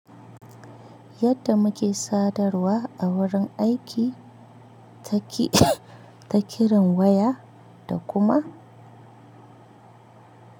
Yadda muke sadarwa a wurin aiki ta ki ta kiran waya da kuma.